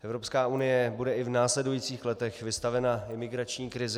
Evropská unie bude i v následujících letech vystavena imigrační krizi.